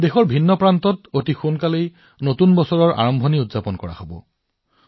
দেশৰ বিভিন্ন অঞ্চলত নতুন বছৰো সোনকালেই উদযাপন কৰা হব